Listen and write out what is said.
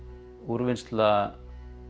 úrvinnsla